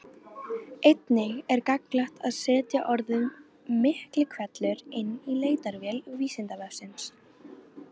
Einnig er gagnlegt að setja orðið Miklihvellur inn í leitarvél Vísindavefsins.